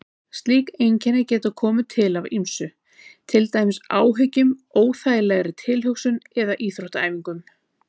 Slík einkenni geta komið til af ýmsu, til dæmis áhyggjum, óþægilegri tilhugsun eða íþróttaæfingum.